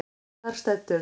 Þar stendur: